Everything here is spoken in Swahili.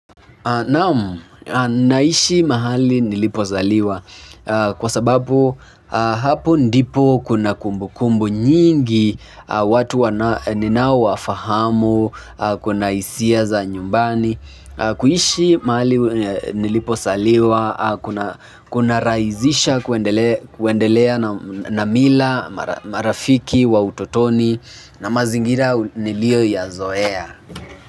Naam, naishi mahali nilipo zaliwa kwa sababu hapo ndipo kuna kumbu kumbu nyingi watu wana ninao wafahamu kuna hisia za nyumbani kuishi mahali nilipo zaliwa kuna rahisisha kuendelea na mila marafiki wa utotoni na mazingira niliyo yazoea.